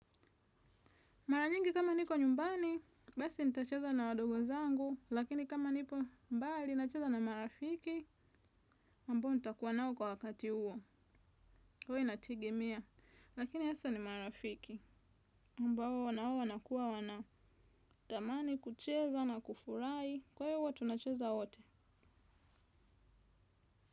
Mara nyingi kama niko nyumbani, basi nita cheza na wadogo zangu, lakini kama nipo mbali, na cheza na marafiki, ambao nitakuwa nao kwa wakati uo. Uwa ina tegemea. Lakini hasa ni marafiki, ambao wanao wana kuwa wana dhamani, kucheza na kufurahi, kwa hivyo tunacheza wote.